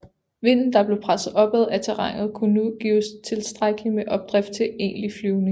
Vinden der blev presset opad af terrænet kunne nu give tilstrækkeligt med opdrift til egentlig flyvning